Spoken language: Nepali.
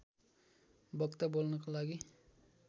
वक्ता बोल्नका लागि